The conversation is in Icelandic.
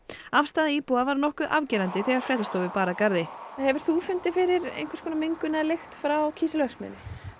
afstaða íbúa var nokkuð afgerandi þegar fréttastofu bar að garði hefur þú fundið fyrir einhvers konar mengun eða lykt frá kísilverksmiðjunni